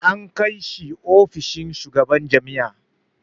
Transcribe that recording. An kai shi ofishin shugaban jami'a.